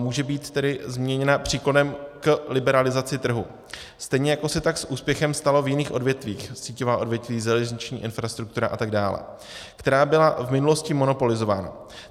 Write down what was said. Může být tedy změněna příklonem k liberalizaci trhu, stejně jako se tak s úspěchem stalo v jiných odvětvích - síťová odvětví, železniční infrastruktura a tak dále -, která byla v minulosti monopolizována.